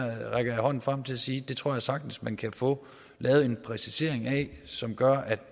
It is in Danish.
jeg hånden frem til at sige at det tror jeg sagtens man kan få lavet en præcisering af som gør at